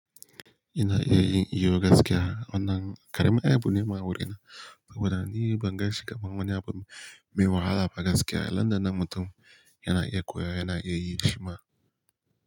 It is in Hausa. Ina iya yin iyo gaskiya wannan ƙaramin abu ne ma wurina. Wannan ni ban ganshi kaman wani abu mai wahala ba gaskiya. Nan da nan mutum yana iya koya, yana iya yi shima.